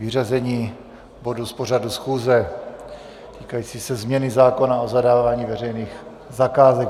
Vyřazení bodu z pořadu schůze týkajícího se změny zákona o zadávání veřejných zakázek.